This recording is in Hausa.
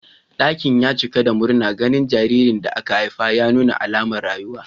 Dakin ya cika da murna ganin jaririn da aka haifa ya nuna alamar rayuwa.